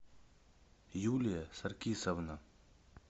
юлия саркисовна